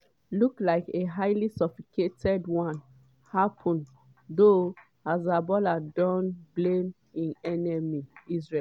look like a highly sophisticated one - happun though hezbollah dom blame im enemy israel.